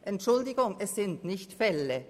Entschuldigung, es sind nicht «Fälle».